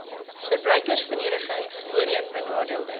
verbruikersverenigings voorheen benadeelde